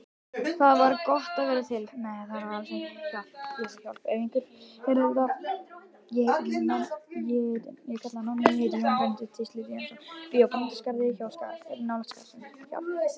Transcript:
Það var gott að vera til.